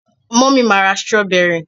mummy ma ra strawberry.